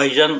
айжан